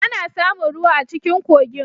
Ana samun ruwa a cikin kogin.